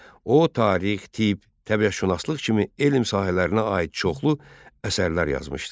O tarix, tibb, təbiətşünaslıq kimi elm sahələrinə aid çoxlu əsərlər yazmışdı.